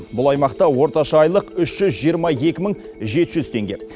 бұл аймақта орташа айлық үш жүз жиырма екі мың жеті жүз теңге